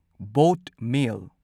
boat ꯃꯦꯜ